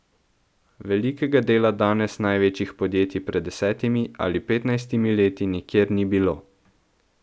Velikega dela danes največjih podjetij pred desetimi ali petnajstimi leti nikjer ni bilo.